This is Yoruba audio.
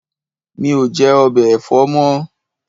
Mi ò jẹ̀ “ọbẹ̀ ẹ̀fọ́” mọ́.